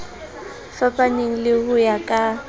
fapaneng le ho ya ka